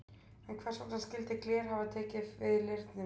En hvers vegna skyldi gler hafa tekið við leirnum?